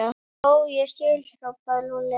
Ó, ég skil! hrópaði Lúlli.